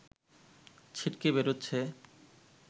ছিটকে বেরোচ্ছে